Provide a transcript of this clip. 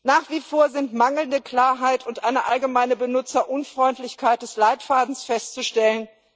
Nach wie vor sind mangelnde Klarheit und eine allgemeine Benutzerunfreundlichkeit des Leitfadens festzustellen.